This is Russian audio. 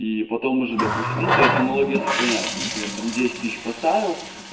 и потом уже допустим ну то есть аналогия сохраняется например там десять тысяч поставил